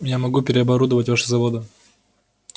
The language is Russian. я могу переоборудовать ваши заводы